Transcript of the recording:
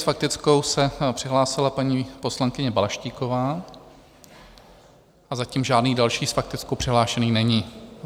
S faktickou se přihlásila paní poslankyně Balaštíková a zatím žádný další s faktickou přihlášený není.